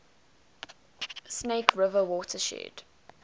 snake river watershed